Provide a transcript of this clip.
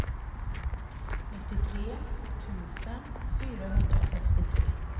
nittiotre tusen fyrahundrasextiotre